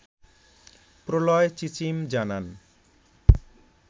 প্রলয় চিচিম জানান